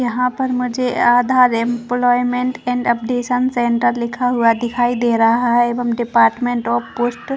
यहाँ पर मुझे Aadhaar employment and updation centre लिखा हुआ दिखाई दे रहा है डिपार्मेंट ऑफ़ पोस्ट --